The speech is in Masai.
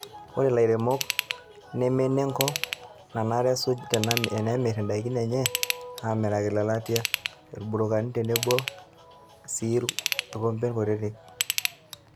Ore ilairemok nemene enko nanare esuj tenaemir endaikin enye amiraki lelatia, irburukani tenebo sii irkompen kutiti.